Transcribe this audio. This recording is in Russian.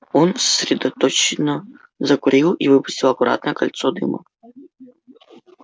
он сосредоточенно закурил и выпустил аккуратное кольцо дыма